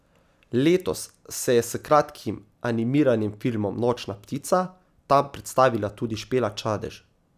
Letos se je s kratkim animiranim filmom Nočna ptica tam predstavila tudi Špela Čadež.